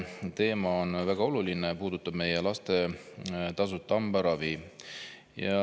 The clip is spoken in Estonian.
Teema on väga oluline, puudutab meie laste tasuta hambaravi.